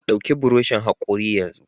Ɗauki buroshin hakori yanzu!